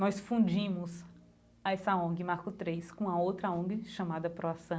Nós fundimos essa ONG, marco três, com a outra ONG chamada proação.